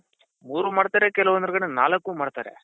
ಮೂರು ಮಾಡ್ತಾರೆ ಕೆಲವೊಂದ್ ಜನ ನಾಲ್ಕು ಮಾಡ್ತಾರೆ.